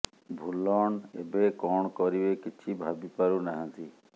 ଭୁଲନ ଏବେ କଣ କରିବେ କିଛି ଭାବି ପାରୁ ନାହାନ୍ତି